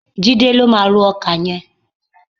Jídé ló máa ró ọkà yẹn.